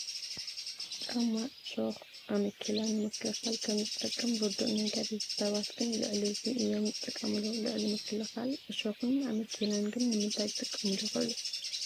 ጫማ ዕሾኽ ኣመኬላ ንምክልኻል ከምዝጠቅም ርዱእ ነገር እዩ፡፡ ሰባት ግን ልዕሊ እዚ እዮም ዝጥቀሙሉ፡፡ ልዕሊ ምክልኻል ዕሾኽን ኣመኬላን ግን ንምንታይ ክጥቀሙሉ ይኽእሉ?